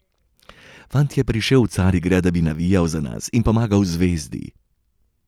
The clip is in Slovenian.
Fant je prišel v Carigrad, da bi navijal za nas in pomagal Zvezdi.